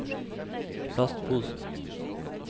plastposen